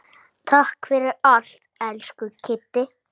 Takk fyrir allt, elsku Kiddi.